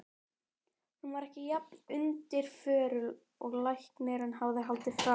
Hún var ekki jafn undirförul og læknirinn hafði haldið fram.